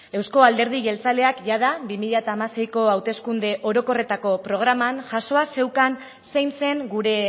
euzko alderdi jeltzaleak jada bi mila hamaseiko hauteskunde orokorretako programan jasoa zeukan zein zen gure